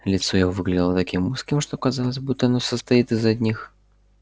лицо его выглядело таким узким что казалось будто оно состоит из одних